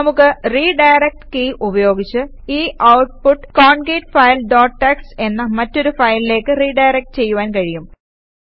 നമുക്ക് redirect key ഉപയോഗിച്ച് ഈ ഔട്ട്പുട്ട് കോൺകേറ്റ്ഫിലെ ഡോട്ട് ടിഎക്സ്ടി എന്ന മറ്റൊരു ഫയലിലേക്ക് റിഡയറക്ട് ചെയ്യുവാൻ കഴിയും